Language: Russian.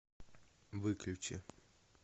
выключи